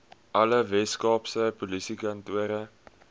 alle weskaapse polisiekantore